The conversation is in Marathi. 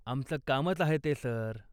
आमचं कामच आहे ते, सर.